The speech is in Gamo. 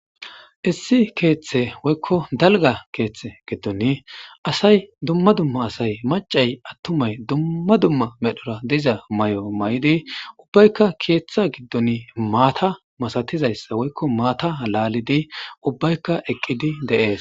Issi keeththe woykko dalgga keeththe gidoni assay dumma dumma assay maccay attumma dumma dumma medhora dizza mayyo mayidi ubaykka keeththa gidon maatha masathizayssa woykko maatha lallid ubaykka eqqid dees.